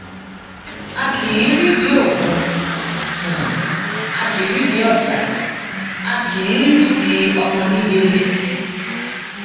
a um kì í rídìí òkun a kì í rídìí ọsà a kì í rídìí ọmọ nígẹlẹ um